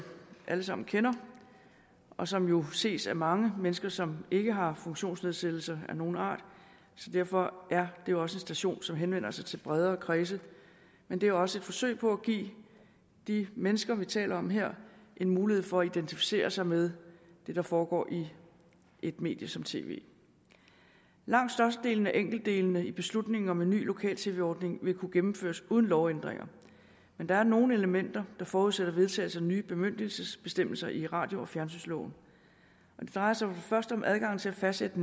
alle sammen kender og som jo ses af mange mennesker som ikke har funktionsnedsættelser af nogen art derfor er det også en station som henvender sig til bredere kredse men det er også et forsøg på at give de mennesker vi taler om her en mulighed for at identificere sig med det der foregår i et medie som tv langt størstedelen af de enkelte dele i beslutningen om en ny lokal tv ordning vil kunne gennemføres uden lovændringer men der er nogle elementer der forudsætter vedtagelse af nye bemyndigelsesbestemmelser i radio og fjernsynsloven det drejer sig for det første om adgangen til at fastsætte